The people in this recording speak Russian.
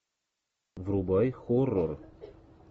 врубай хоррор